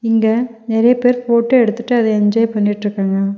இங்க நெறைய பேர் போட்டோ எடுத்துட்டு அத என்ஜாய் பண்ணிட்ருக்காங்க.